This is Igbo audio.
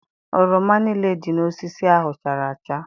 Oroma niile dị n'osisi ahụ chara acha.